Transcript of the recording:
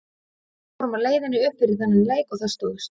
Við vorum á leiðinni upp fyrir þennan leik og það stóðst.